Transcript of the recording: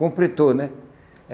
Completou, né?